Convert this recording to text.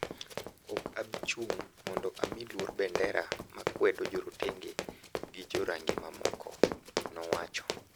"Ok abi chung' mondo amiluor bendera ma kwedo jorotenge gi jo rangi mamokogo." Nowacho.